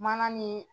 Mana ni